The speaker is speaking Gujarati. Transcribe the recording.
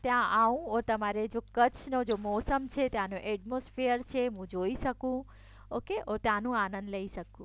ત્યાં આવું તમારે જો કચ્છ જે મોસમ છે ત્યાંનો એટમોસ્ફિયર છે હું જોઈ શકું ઓકે ત્યાંનો આનંદ લઇ શકું